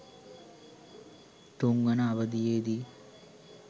තුන්වන අවධියේදී